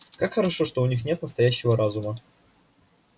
как хорошо что у них нет настоящего разума